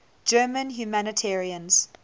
german humanitarians